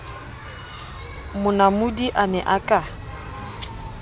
monamodi a ne a ka